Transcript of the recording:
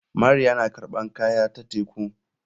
Mariya na karɓan kaya ta teku.